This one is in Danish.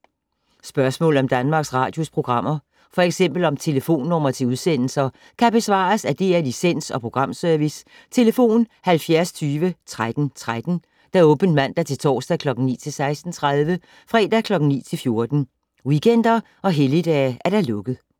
Spørgsmål om Danmarks Radios programmer, f.eks. om telefonnumre til udsendelser, kan besvares af DR Licens- og Programservice: tlf. 70 20 13 13, åbent mandag-torsdag 9.00-16.30, fredag 9.00-14.00, weekender og helligdage: lukket.